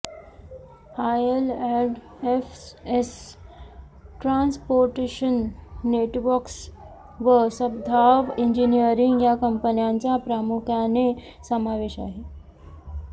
IL&FS Transportation Networks व सद्भाव इंजिनियरिंग या कंपन्यांचा प्रामुख्याने समावेश आहे